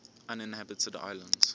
uninhabited islands